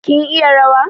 Kin iya rawa?